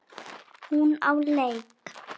Hún á leik.